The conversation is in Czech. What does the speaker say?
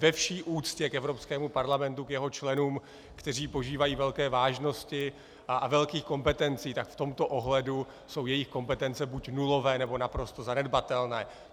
Ve vší úctě k Evropskému parlamentu, k jeho členům, kteří požívají velké vážnosti a velkých kompetencí, tak v tomto ohledu jsou jejich kompetence buď nulové, nebo naprosto zanedbatelné.